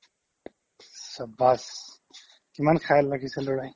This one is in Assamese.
ইছ্‌ shabaash কিমান lang:Hindhikhayal ৰাখিছে ল'ৰাই